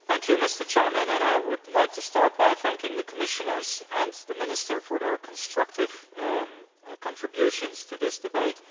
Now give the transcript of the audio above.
Mr President, I would like to start by thanking the Commissioners and the Minister for their constructive contributions to this debate.